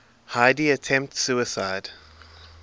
heidi attempts suicide